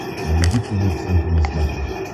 найди тв центр на смотрешке